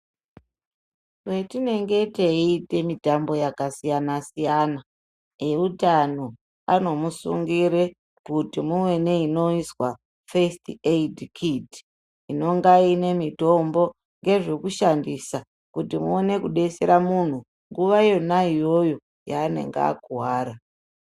Patinenge teite mutambao yakasiyana siyana eutano anomusungire kuti muwe neinoizwa FIRST AID KIT inonga inemitombo ngezvekushandisa kuti muone kubetsera munhu nguva yona iyoyo yanenge akuwara.